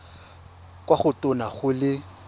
kwa go tona go le